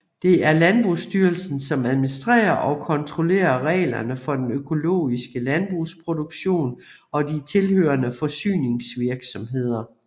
Det er Landbrugsstyrelsen som administrerer og kontrollerer reglerne for den økologiske landbrugsproduktion og de tilhørende forsyningsvirksomheder